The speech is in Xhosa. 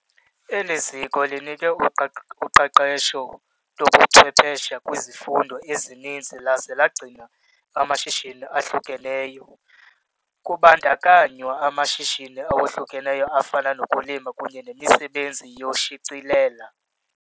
Eli ziko linike uqeqesho lobuchwephesha kwizifundo ezininzi laze lagcina amashishini ahlukeneyo, kubandakanywa amashishini awohlukeneyo afana nokulima kunye nemisebenzi yokushicilela.